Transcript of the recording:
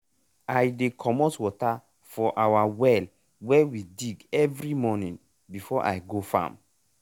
i dey commot water for our well wey we dig every morning before i go farm.